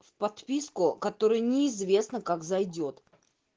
в подписку которую неизвестно как зайдёт